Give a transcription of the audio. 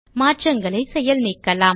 மாற்றங்களை செயல் நீக்கலாம்